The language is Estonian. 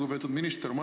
Lugupeetud minister!